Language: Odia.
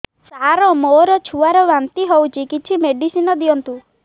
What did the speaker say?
ସାର ମୋର ଛୁଆ ର ବାନ୍ତି ହଉଚି କିଛି ମେଡିସିନ ଦିଅନ୍ତୁ